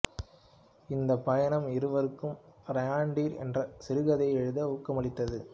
இந்தப் பயணம் இவருக்கு ரெய்ண்டீர் என்ற சிறுகதையை எழுத ஊக்கமளித்தது